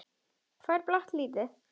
Hvað er blátt lítið?